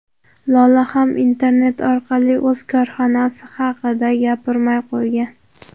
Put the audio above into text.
Lola ham internet orqali o‘z korxonasi haqida gapirmay qo‘ygan.